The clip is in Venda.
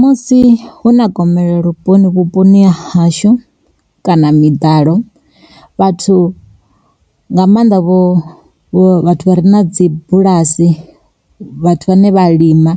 Musi hu na gomelelo vhuponi vhuponi ha hashu, kana miḓalo vhathu nga maanḓa vho vhathu vha re na dzi bulasi vhathu vhane vha lima.